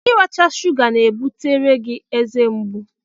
Iracha shụga ga-ebutere gị ezemgbu